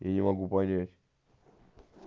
я не могу понять